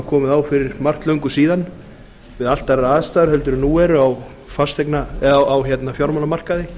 komið á fyrir margt löngu síðan við allt aðrar aðstæður heldur en nú eru á fjármálamarkaði